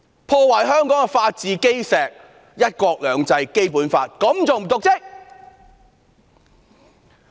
她破壞香港的法治基石、"一國兩制"和《基本法》，這還不是瀆職嗎？